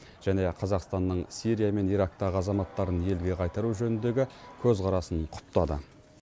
және қазақстанның сирия мен ирактағы азаматтарын елге қайтару жөніндегі көзқарасын құптады